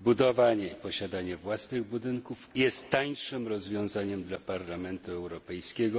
budowanie, posiadanie własnych budynków jest tańszym rozwiązaniem dla Parlamentu Europejskiego